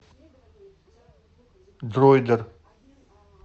дройдер